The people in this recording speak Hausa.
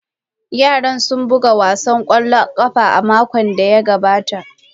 Yara sun buga wasan kwallon kafa a makon da ya gabata.